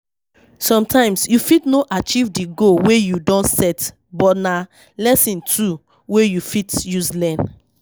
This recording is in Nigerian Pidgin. Sometimes you fit no achieve di goal wey you don set but na lesson too wey you fit use learn